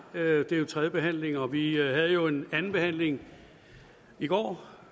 det er jo tredje behandling og vi havde jo en anden behandling i går